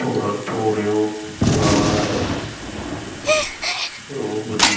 ਪੂਰਨ ਭੋਰਿਓਂ ਬਾਹਰ ਆਇਆ ਰੂਪ ਦੀ